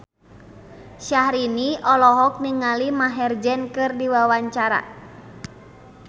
Syahrini olohok ningali Maher Zein keur diwawancara